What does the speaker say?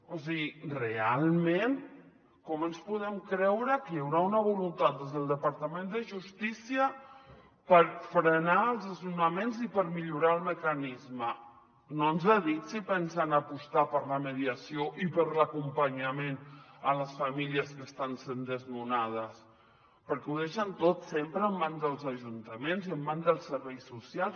o sigui realment com ens podem creure que hi haurà una voluntat des del departament de justícia per frenar els desnonaments i per millorar el mecanisme no ens ha dit si pensen apostar per la mediació i per l’acompanyament a les famílies que estan sent desnonades perquè ho deixen tot sempre en mans dels ajuntaments en mans dels serveis socials